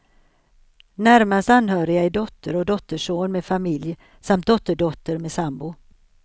Närmast anhöriga är dotter och dotterson med familj samt dotterdotter med sambo.